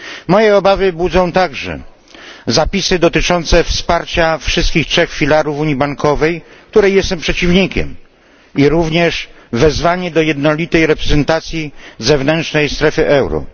Moje obawy budzą także zapisy dotyczące wsparcia wszystkich trzech filarów unii bankowej, której jestem przeciwnikiem, a także wezwanie do jednolitej reprezentacji zewnętrznej strefy euro.